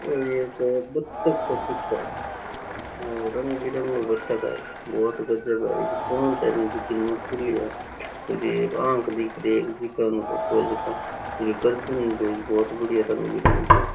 ओ एक बतख के चित्र है और रंग बिरंगो बतख है बहुत गजब है इरी पूंछ है नी जिकी नुकीली है इरी एक आँख दिख री है इरी गरदन बहुत बढ़िया रंग बिरंगी है।